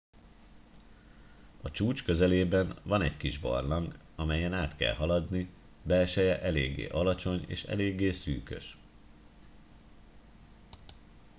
a csúcs közelében van egy kis barlang amelyen át kell haladni belseje eléggé alacsony és eléggé szűkös